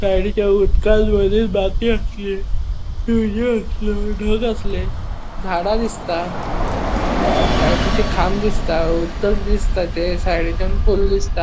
साइडीच्या उदकांन बरी आसली उदक असले झाड़ा दिसता आणि लायटीचे खाम दिसता उदक दिसता ते सायडीचान पूल दिसता.